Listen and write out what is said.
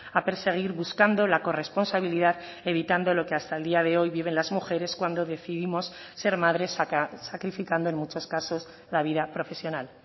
a perseguir buscando la corresponsabilidad evitando lo que hasta el día de hoy viven las mujeres cuando decidimos ser madres sacrificando en muchos casos la vida profesional